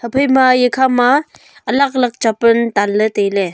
haphai ma eya khama alak alak chapal tan ley tailey.